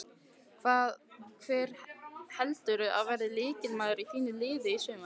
Hver heldurðu að verði lykilmaður í þínu liði í sumar?